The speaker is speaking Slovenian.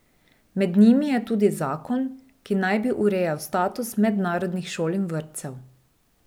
Med njimi je tudi zakon, ki naj bi urejal status mednarodnih šol in vrtcev.